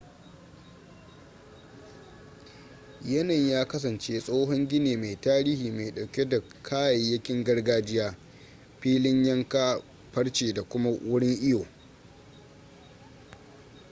yanayin ya kasance tsohon gini mai tarihi mai dauke da kayayyakin gargajiya filin yanka farce da kuma wurin iyo